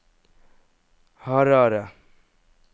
Harare